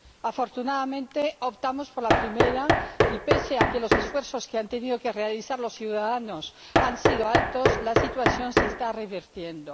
Afortunadamente, optamos por la primera y, pese a que los esfuerzos que han tenido que realizar los ciudadanos han sido altos, la situación se está revirtiendo.